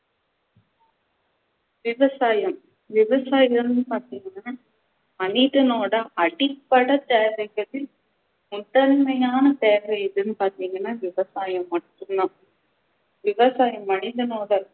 விவசாயம், விவசாயம்னு பாத்திங்கண்ணா மனிதனோட அடிப்படை தேவைக்கு முதன்மையான தேவை எதுன்னு பாத்திங்கண்ணா விவசாயம் மட்டும் தான் விவசாயம் மனிதனோட